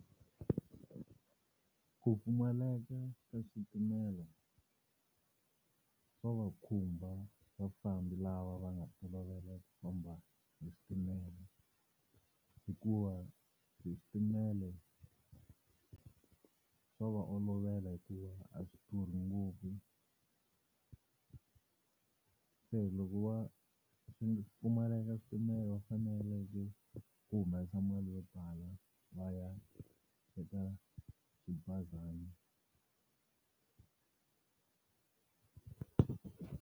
Ku pfumaleka ka switimela swa va khumba vafambi lava va nga tolovela ku famba hi switimela hikuva hi switimela, swo va olovela hikuva a swi durha ngopfu. Se loko va swi pfumaleka switimela wa faneleke ku humesa mali yo tala va ya eka swibazana.